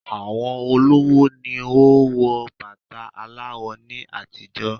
Àwọn olówó ni o n wo bàtà aláwọ̀ ni àtijọ́